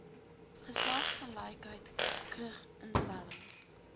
geslagsgelykheid kgg instelling